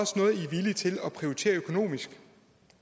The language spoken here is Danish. villige til at prioritere økonomisk